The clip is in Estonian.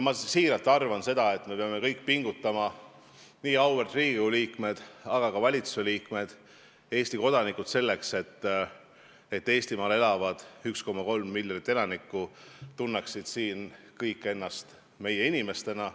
Ma siiralt arvan seda, et me peame pingutama – nii auväärt Riigikogu liikmed, aga ka valitsusliikmed, kõik Eesti kodanikud –, selleks et kõik need 1,3 miljonit inimest, kes Eestimaal elavad, tunneksid ennast siin meie inimestena.